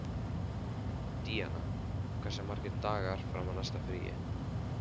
Díanna, hversu margir dagar fram að næsta fríi?